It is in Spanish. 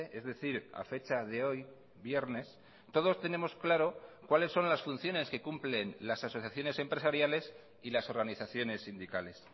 es decir a fecha de hoy viernes todos tenemos claro cuáles son las funciones que cumplen las asociaciones empresariales y las organizaciones sindicales